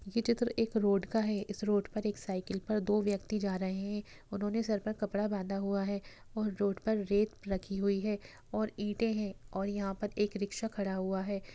ये चित्र एक रोड का है इस रोड पर एक साइकिल पर दो व्यक्ति जा रहे हैं उन्होंने सर पर कपड़ा बाँधा हुआ है और रोड पर रेत रखी हुई है और ईंटे हैं और यहाँ पर एक रिक्शा खड़ा हुआ है ।